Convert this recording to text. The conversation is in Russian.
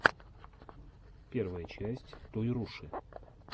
первая часть тойруши